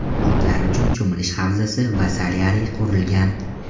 Otlar uchun cho‘milish havzasi va solyariy qurilgan.